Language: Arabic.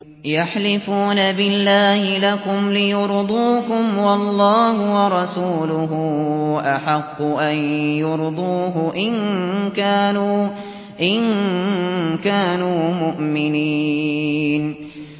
يَحْلِفُونَ بِاللَّهِ لَكُمْ لِيُرْضُوكُمْ وَاللَّهُ وَرَسُولُهُ أَحَقُّ أَن يُرْضُوهُ إِن كَانُوا مُؤْمِنِينَ